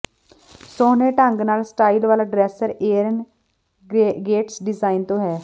ਸੋਹਣੇ ਢੰਗ ਨਾਲ ਸਟਾਈਲ ਵਾਲਾ ਡ੍ਰੇਸਰ ਏਰਿਨ ਗੇਟਸ ਡਿਜ਼ਾਈਨ ਤੋਂ ਹੈ